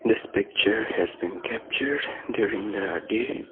This picture has been capture during the day.